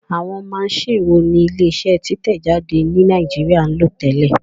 Àwọn maṣíìnì wo ni ilé iṣẹ́ títẹ̀ jáde ní Nàìjíríà ń lò tẹ́lẹ̀?